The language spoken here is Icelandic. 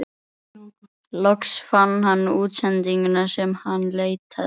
Loks fann hann útsendinguna sem hann leitaði að.